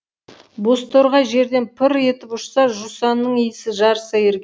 бозторғай жерден пыр етіп ұшса жусанның иісі жарыса ер